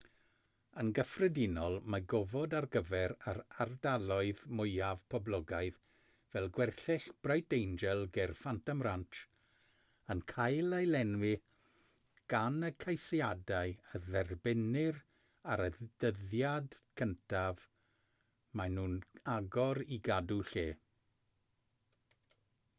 yn gyffredinol mae gofod ar gyfer yr ardaloedd mwyaf poblogaidd fel gwersyll bright angel ger phantom ranch yn cael ei lenwi gan y ceisiadau a dderbynnir ar y dyddiad cyntaf maen nhw'n agor i gadw lle